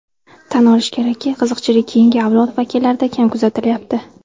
Tan olish kerakki, qiziqchilik keyingi avlod vakillarida kam kuzatilayapti.